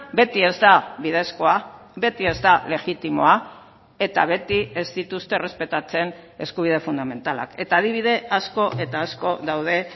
beti ez da bidezkoa beti ez da legitimoa eta beti ez dituzte errespetatzen eskubide fundamentalak eta adibide asko eta asko daude